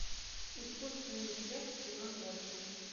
искусственный интеллект сезон восемь